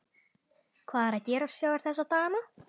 Hvað er að gerast hjá þér þessa dagana?